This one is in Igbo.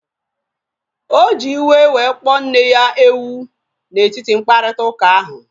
Oji iwe wee kpọọ nne ya ewu na etiti mkparịta ụka ahu